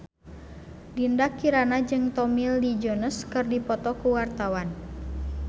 Dinda Kirana jeung Tommy Lee Jones keur dipoto ku wartawan